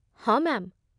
ହଁ, ମ୍ୟା'ମ୍ ।